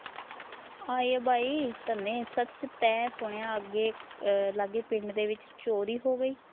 ਆਏ ਬਯੀ, ਤਣੇ ਸੱਚ ਤੈਂ ਸੁਣਿਆ ਅੱਗੇ ਲਾਗੇ ਪਿੰਡ ਦੇ ਵਿਚ ਚੋਰੀ ਹੋ ਗਈ ।